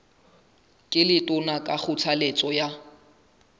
ke letona ka kgothaletso ya